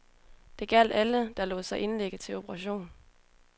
Det gjaldt alle, der lod sig indlægge til operation.